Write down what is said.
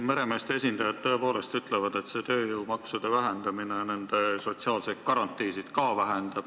Meremeeste esindajad tõepoolest ütlevad, et see tööjõumaksude vähendamine vähendab ka nende sotsiaalseid garantiisid.